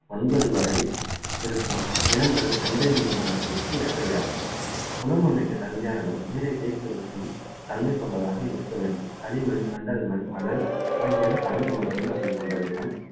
ஒன்பது வரை இருக்கும் நிலங்கள் கெண்டை மீன் வனத்திற்கு ஏற்றவையாகும் குளம் அமைக்க தகுதியான இடம் நீரை தேக்கி வைக்கும் தன்மை கொண்டதாக இருக்க வேண்டும் களிமண், வண்டல் மண், மணல், ஆகியன கலந்த மண் வகை கொண்ட நிலம்